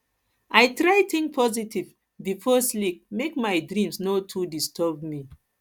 i try think positive before sleep make my dreams no too disturb me